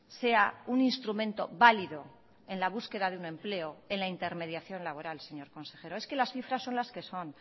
sea un instrumento válido en la búsqueda de un empleo en la intermediación laboral señor consejero es que las cifras son las que son